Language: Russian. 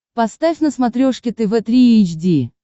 поставь на смотрешке тв три эйч ди